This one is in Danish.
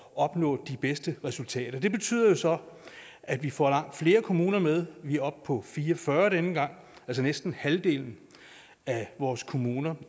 opnå de bedste resultater det betyder så at vi får langt flere kommuner med vi er oppe på fire og fyrre denne gang altså næsten halvdelen af vores kommuner